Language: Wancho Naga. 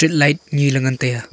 light ni le ngan taiga.